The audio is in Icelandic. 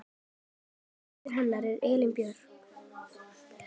Dóttir hans er Elín Björk.